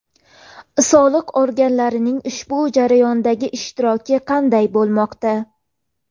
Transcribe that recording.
Soliq organlarining ushbu jarayonlardagi ishtiroki qanday bo‘lmoqda?